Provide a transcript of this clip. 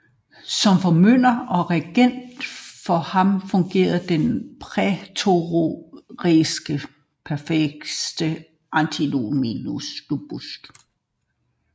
Som formynder og regent for ham fungerede den prætorianske præfekt Anthemius